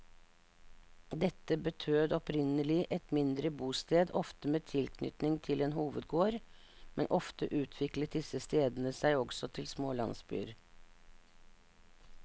Dette betød opprinnelig et mindre bosted, ofte med tilknytning til en hovedgård, men ofte utviklet disse stedene seg også til små landsbyer.